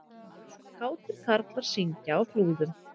Kátir karlar syngja á Flúðum